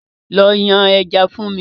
Lọ yan ẹja fún mi!